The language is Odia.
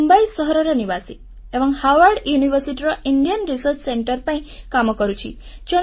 ମୁଁ ମୁମ୍ବାଇ ସହରର ନିବାସୀ ଏବଂ ହାର୍ଭାର୍ଡ ୟୁନିଭର୍ସିଟି ର ଇଣ୍ଡିଆ ରିସର୍ଚ୍ଚ ସେଣ୍ଟରେ ପାଇଁ କାମ କରୁଛି